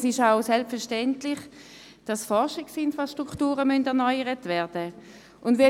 Es ist auch selbstverständlich, dass Forschungsinfrastrukturen erneuert werden müssen.